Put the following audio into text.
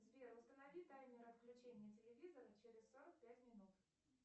сбер установи таймер отключения телевизора через сорок пять минут